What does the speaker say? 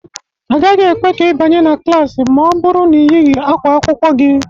A gaghị ekwe ka ị banye na klaasị ma ọ bụrụ ị yighị ákwá akwụkwọ gị